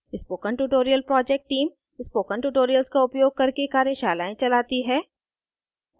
spoken tutorial project team spoken tutorials का उपयोग करके कार्यशालाएं चलाती है